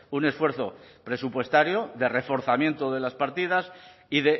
un esfuerzo presupuestario de reforzamiento de las partidas y